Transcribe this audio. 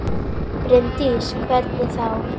Bryndís: Hvernig þá?